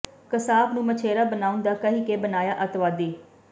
ਕਸਾਬ ਨੂੰ ਮਛੇਰਾ ਬਣਾਉਣ ਦਾ ਕਹਿ ਕੇ ਬਣਾਇਆ ਅੱਤਵਾਦੀ